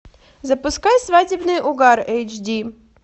запускай свадебный угар эйч ди